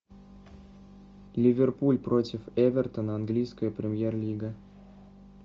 ливерпуль против эвертона английская премьер лига